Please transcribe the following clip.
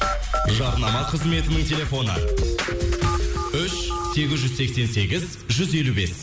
жарнама қызметінің телефоны үш сегіз жүз сексен сегіз жүз елу бес